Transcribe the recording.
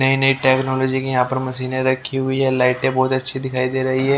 नई नई टेक्नोलॉजी की यहां पर मशीनें रखी हुई है लाइटें बहुत अच्छी दिखाई दे रही है।